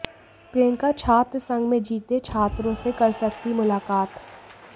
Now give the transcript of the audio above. प्रियंका छात्र संघ में जीते छात्रों से कर सकती मुलाकात